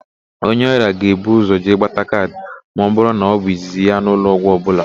Onye ọrịa ga-ebu ụzọ jee gbata kaad ma ọ bụrụ na ọ bụ izizi ya n'ụlọọgwụ ọbụla.